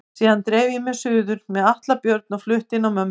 Síðan dreif ég mig suður með Atla Björn og flutti inn á mömmu.